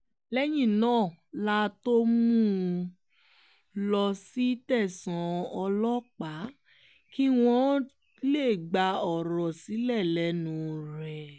lẹ́yìn náà la tóó mú un lọ sí tẹ̀sán ọlọ́pàá kí wọ́n lè gba ọ̀rọ̀ sílẹ̀ lẹ́nu rẹ̀